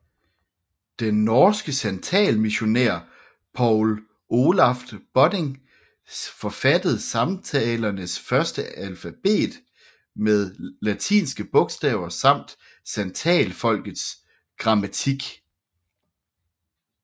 Den norske santalmissionær Paul Olaf Bodding forfattede santalernes første alfabet med latinske bogstaver samt santalfolkets grammatik